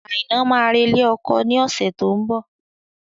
Aina máa re ilé ọkọ ni ọ̀sẹ̀ tó ń bọ̀